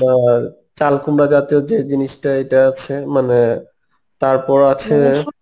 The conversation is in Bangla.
তোমার চাল কুমড়া জাতীয় যেই জিনিষটা এইটা আছে মানে তারপর আছে